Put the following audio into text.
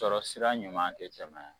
Sɔrɔ sira ɲuman tɛ tɛmɛ a kan.